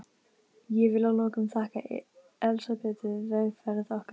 Ég vil að lokum þakka Elsabetu vegferð okkar.